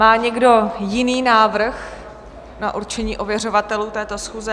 Má někdo jiný návrh na určení ověřovatelů této schůze?